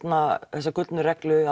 þessari reglu